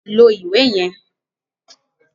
Lo iwe yẹn!